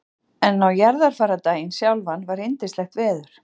En á jarðarfarardaginn sjálfan var yndislegt veður.